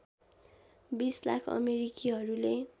२० lakh अमेरिकीहरूले